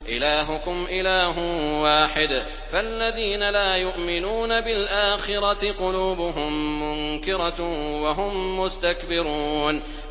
إِلَٰهُكُمْ إِلَٰهٌ وَاحِدٌ ۚ فَالَّذِينَ لَا يُؤْمِنُونَ بِالْآخِرَةِ قُلُوبُهُم مُّنكِرَةٌ وَهُم مُّسْتَكْبِرُونَ